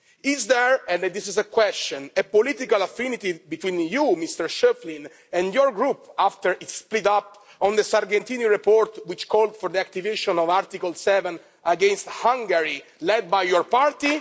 Is there and this is a question a political affinity between you, Mr Schöpflin, and your Group after it split up on the Sargentini report which called for the activation of Article 7 against Hungary, led by your party?